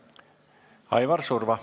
Aivar Surva.